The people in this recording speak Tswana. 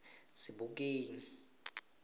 sebokeng